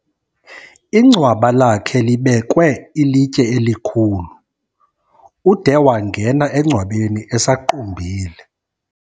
Ingcwaba lakhe libekwe ilitye elikhulu. Ude wangena engcwabeni esaqumbile.